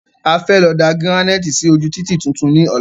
A fẹ́ lọ da gíránìtì sí ojú títì tuntun ní ola